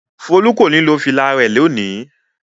Folú kò ní lo fìlà rẹ̀ lónìí!